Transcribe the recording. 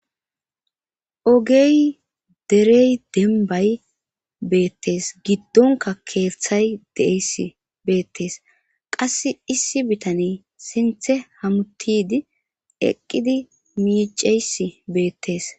ogey derey dembay beettes giddonka keeththay deeys beettes qasse issi bitane sinthe hamutidi eqqidi miiceys beettees